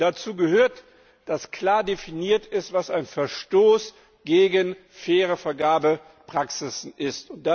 Dazu gehört, dass klar definiert ist, was ein Verstoß gegen faire Vergabepraxis ist.